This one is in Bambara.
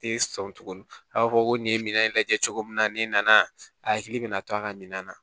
Tɛ sɔn tuguni a b'a fɔ ko nin ye minan in lajɛ cogo min na n'i nana a hakili bɛ na to a ka minan na